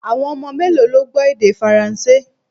Awọn ọmọ melo lo gbọ èdè faranse?